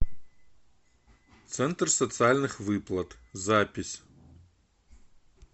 центр социальных выплат запись